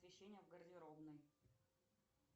освещение в гардеробной